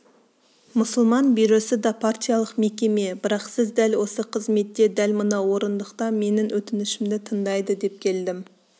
мұсылман бюросы да партиялық мекеме бірақ сіз дәл осы қызметте дәл мына орындықта менің өтінішімді тыңдайды деп келдім